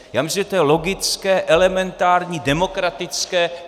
Já myslím, že to je logické, elementární, demokratické.